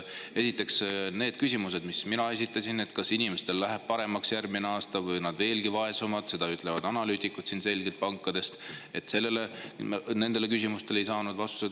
Esiteks, nendele küsimustele, mis ma esitasin selle kohta, kas inimestel läheb järgmisel aastal paremaks või nad veelgi vaesuvad, nagu selgelt ütlevad analüütikud pankadest, ei saanud ma vastust.